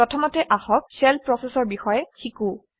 প্ৰথমতে আহক shell process অৰ বিষয়ে শিকোঁ